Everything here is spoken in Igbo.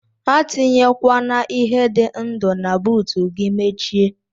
Atinyekwana ihe di ndu na buut gi mechie.